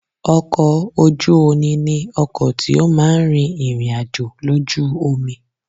Ọkọ̀ ojú oni ni ọkọ̀ tí ó máa ń rin ìrìn-àjò lójú omi